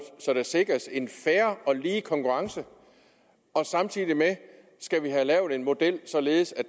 så der sikres en fair og lige konkurrence og samtidig skal vi have lavet en model således at